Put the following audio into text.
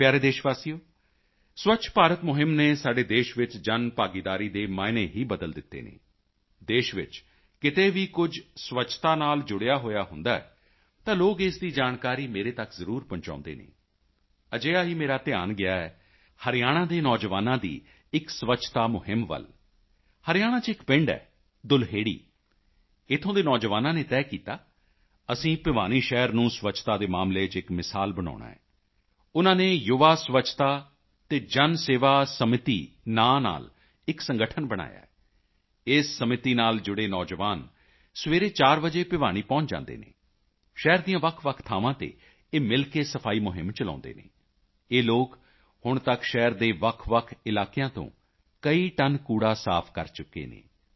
ਮੇਰੇ ਪਿਆਰੇ ਦੇਸ਼ਵਾਸੀਓ ਸਵੱਛ ਭਾਰਤ ਮੁਹਿੰਮ ਨੇ ਸਾਡੇ ਦੇਸ਼ ਚ ਜਨਭਾਗੀਦਾਰੀ ਦੇ ਮਾਅਨੇ ਹੀ ਬਦਲ ਦਿੱਤੇ ਹਨ ਦੇਸ਼ ਵਿੱਚ ਕਿਤੇ ਵੀ ਕੁਝ ਸਵੱਛਤਾ ਨਾਲ ਜੁੜਿਆ ਹੋਇਆ ਹੁੰਦਾ ਹੈ ਤਾਂ ਲੋਕ ਇਸ ਦੀ ਜਾਣਕਾਰੀ ਮੇਰੇ ਤੱਕ ਜ਼ਰੂਰ ਪਹੁੰਚਾਉਂਦੇ ਹਨ ਅਜਿਹਾ ਹੀ ਮੇਰਾ ਧਿਆਨ ਗਿਆ ਹੈ ਹਰਿਆਣਾ ਦੇ ਨੌਜਵਾਨਾਂ ਦੀ ਇੱਕ ਸਵੱਛਤਾ ਮੁਹਿੰਮ ਵੱਲ ਹਰਿਆਣਾ ਚ ਇੱਕ ਪਿੰਡ ਹੈ ਦੁਲਹੇੜੀ ਇੱਥੋਂ ਦੇ ਨੌਜਵਾਨਾਂ ਨੇ ਤੈਅ ਕੀਤਾ ਅਸੀਂ ਭਿਵਾਨੀ ਸ਼ਹਿਰ ਨੂੰ ਸਵੱਛਤਾ ਦੇ ਮਾਮਲੇ ਚ ਇੱਕ ਮਿਸਾਲ ਬਣਾਉਣਾ ਹੈ ਉਨ੍ਹਾਂ ਨੇ ਯੁਵਾ ਸਵੱਛਤਾ ਅਤੇ ਜਨ ਸੇਵਾ ਸਮਿਤੀ ਨਾਮ ਨਾਲ ਇੱਕ ਸੰਗਠਨ ਬਣਾਇਆ ਹੈ ਇਸ ਸਮਿਤੀ ਨਾਲ ਜੁੜੇ ਨੌਜਵਾਨ ਸਵੇਰੇ 4 ਵਜੇ ਭਿਵਾਨੀ ਪਹੁੰਚ ਜਾਂਦੇ ਹਨ ਸ਼ਹਿਰ ਦੀਆਂ ਵੱਖਵੱਖ ਥਾਵਾਂ ਤੇ ਇਹ ਮਿਲ ਕੇ ਸਫਾਈ ਮੁਹਿੰਮ ਚਲਾਉਂਦੇ ਹਨ ਇਹ ਲੋਕ ਹੁਣ ਤੱਕ ਸ਼ਹਿਰ ਦੇ ਵੱਖਵੱਖ ਇਲਾਕਿਆਂ ਤੋਂ ਕਈ ਟਨ ਕੂੜਾ ਸਾਫ ਕਰ ਚੁੱਕੇ ਹਨ